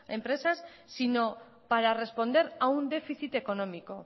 empresas sino para responder a un déficit económico